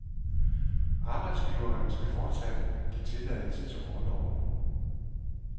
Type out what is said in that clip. Arbejdsgiveren skal fortsat give tilladelse til orloven.